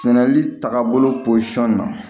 Sɛnɛli taaga bolo pɔsɔn na